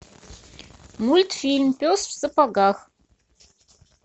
мультфильм пес в сапогах